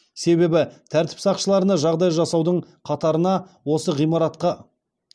себебі тәртіп сақшыларына жағдай жасаудың қатарына осы ғимаратқа